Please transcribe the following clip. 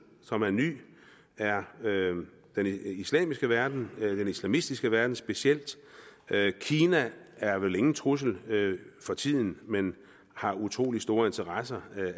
som er ny er den islamiske verden den islamistiske verden specielt kina er vel ingen trussel for tiden men har utrolig store interesser